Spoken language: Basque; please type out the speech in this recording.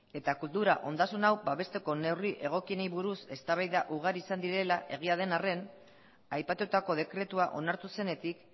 eta kultura ondasun hau babesteko neurri egokienei buruz eztabaida ugari izan direla egia den arren aipatutako dekretua onartu zenetik